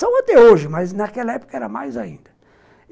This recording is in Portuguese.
São até hoje, mas naquela época eram mais ainda.